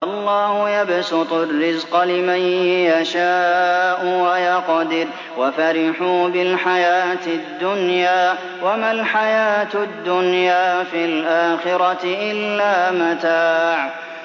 اللَّهُ يَبْسُطُ الرِّزْقَ لِمَن يَشَاءُ وَيَقْدِرُ ۚ وَفَرِحُوا بِالْحَيَاةِ الدُّنْيَا وَمَا الْحَيَاةُ الدُّنْيَا فِي الْآخِرَةِ إِلَّا مَتَاعٌ